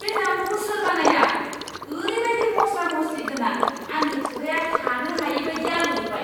बे जामुंखौ सोर बानायआ? ओरैबादि मस्ला मस्लिगोनां आंनि खुगाया थानोहायै बायदि आलौजोबबाय!